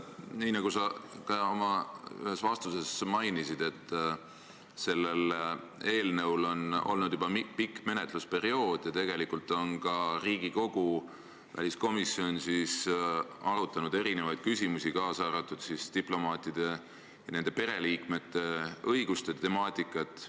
Nii nagu sa oma ühes vastuses mainisid, sellel eelnõul on olnud juba pikk menetlusperiood ja tegelikult on ka Riigikogu väliskomisjon arutanud erinevaid küsimusi, kaasa arvatud diplomaatide ja nende pereliikmete õiguste temaatikat.